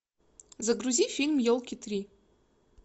загрузи фильм елки три